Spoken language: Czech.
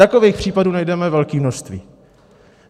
Takových případů najdeme velké množství.